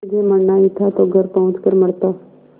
तुझे मरना ही था तो घर पहुँच कर मरता